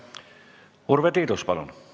Urve Tiidus, palun!